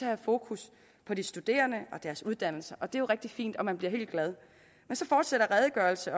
have fokus på de studerende og deres uddannelse og det er jo rigtig fint og man bliver helt glad men så fortsætter redegørelsen